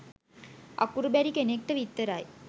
අකුරු බැරි කෙනෙක්ට විතරයි